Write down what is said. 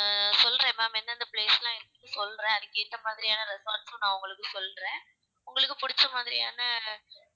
ஆஹ் சொல்றேன் ma'am எந்தந்த place லாம் இருக்கு சொல்றேன் அதுக்கேத்த மாதிரியான resorts உம் நான் உங்களுக்கு சொல்கிறேன் உங்களுக்குப் புடிச்ச மாதிரியான